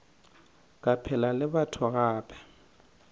ke phela le batho gape